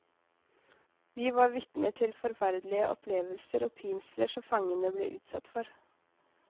Vi var vitner til forferdelige opplevelser og pinsler som fangene ble utsatt for.